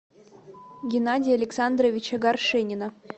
геннадия александровича горшенина